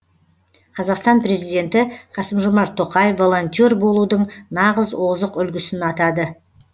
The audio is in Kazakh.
қазақстан президенті қасым жомарт тоқаев волонтер болудың нағыз озық үлгісін атады